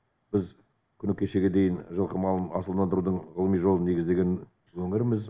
біз күні кешегі дейін жылқы малын асылдандырудың ғылыми жолын негіздеген өңірміз